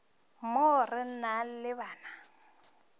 mo re na le bana